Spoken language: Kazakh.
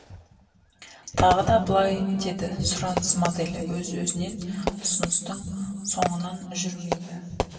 тағы да былай деді сұраныс моделі өз өзінен ұсыныстың соңынан жүрмейді